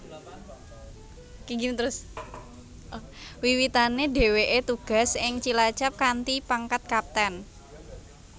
Wiwitane dheweke tugas ing Cilacap kanthi pangkat Kapten